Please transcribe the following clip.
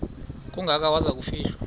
kangaka waza kufihlwa